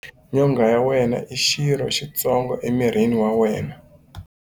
Nyonghwa ya wena i xirho xitsongo emirini wa wena.